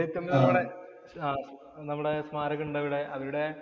വേലുത്തമ്പി ദളവയുടെ നമ്മുടെ സ്മാരകം ഉണ്ടവിടെ. അവരുടെ